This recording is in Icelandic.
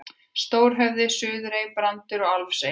Stórhöfði, Suðurey, Brandur og Álfsey.